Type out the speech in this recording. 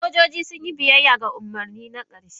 sojoji sun yi biyayya ga umarni na ƙarshe.